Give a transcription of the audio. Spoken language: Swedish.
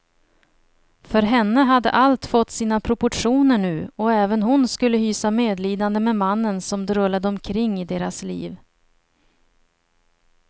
För henne hade allt fått sina proportioner nu, och även hon skulle hysa medlidande med mannen som drullade omkring i deras liv.